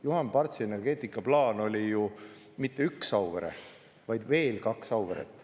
Juhan Partsi energeetikaplaan oli ju mitte üks Auvere, vaid veel kaks Auveret.